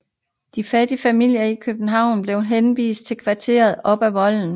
De fattige familier i København blev henvist til kvartererne op ad voldene